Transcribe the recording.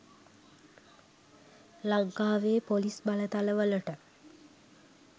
ලංකාවේ පොලිස් බලතලවලට